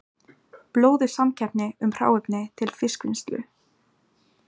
Blóðug samkeppni um hráefni til fiskvinnslu